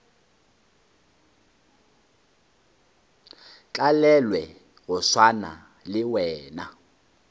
tlalelwe go swana le wena